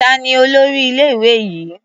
Ta ni olórí ilé-ìwé yìí?